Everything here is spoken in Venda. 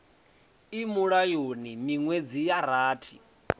i mulayoni miṅwedzi ya rathi